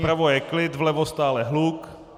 Vpravo je klid, vlevo stále hluk.